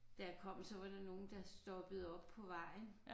Da jeg kom så var der nogen der stoppede op på vejen